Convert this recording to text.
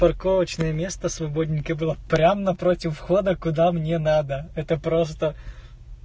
парковочное место свободненькое было прямо напротив входа куда мне надо это просто